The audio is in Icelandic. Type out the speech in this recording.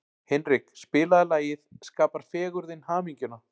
Hinrik, spilaðu lagið „Skapar fegurðin hamingjuna“.